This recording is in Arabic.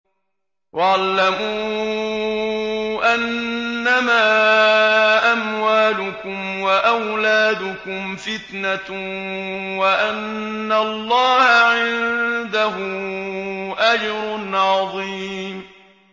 وَاعْلَمُوا أَنَّمَا أَمْوَالُكُمْ وَأَوْلَادُكُمْ فِتْنَةٌ وَأَنَّ اللَّهَ عِندَهُ أَجْرٌ عَظِيمٌ